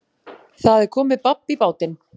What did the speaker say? Það er komið babb í bátinn